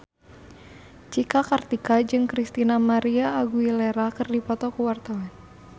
Cika Kartika jeung Christina María Aguilera keur dipoto ku wartawan